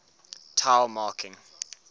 tao marking